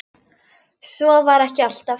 Svo var ekki alltaf.